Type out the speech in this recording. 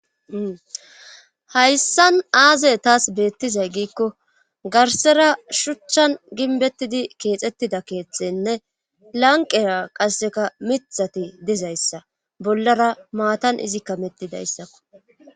Hayssan aazey taas beettizay giikko garsera shuchchan ginbettidi keexettida keethtenne lanqera qasseka mithati dizayssa bollara maatan izikka mettidayssakko.